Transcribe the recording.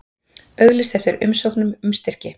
Auglýst eftir umsóknum um styrki